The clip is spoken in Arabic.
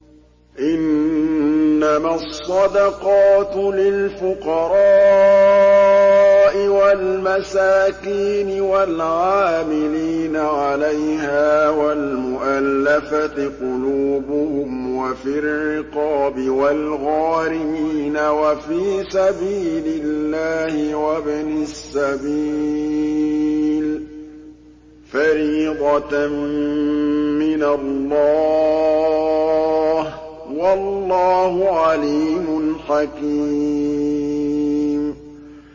۞ إِنَّمَا الصَّدَقَاتُ لِلْفُقَرَاءِ وَالْمَسَاكِينِ وَالْعَامِلِينَ عَلَيْهَا وَالْمُؤَلَّفَةِ قُلُوبُهُمْ وَفِي الرِّقَابِ وَالْغَارِمِينَ وَفِي سَبِيلِ اللَّهِ وَابْنِ السَّبِيلِ ۖ فَرِيضَةً مِّنَ اللَّهِ ۗ وَاللَّهُ عَلِيمٌ حَكِيمٌ